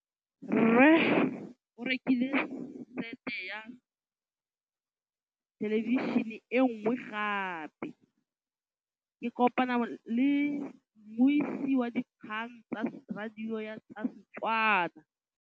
Rre o rekile sete ya thêlêbišênê e nngwe gape. Ke kopane mmuisi w dikgang tsa radio tsa Setswana.